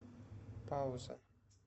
пауза